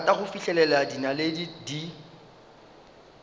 rata go fihlela dinaledi di